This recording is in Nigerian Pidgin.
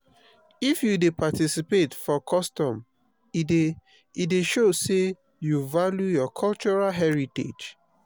if you dey participate for custom e dey e dey show sey you value your cultural heritage.